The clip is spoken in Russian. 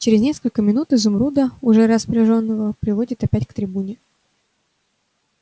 через несколько минут изумруда уже распряжённого приводят опять к трибуне